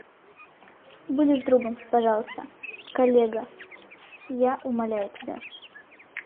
будешь другом пожалуйста коллега я умоляю тебя